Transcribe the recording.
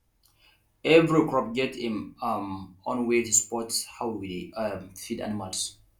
every crop get im um own way to support how we um feed animals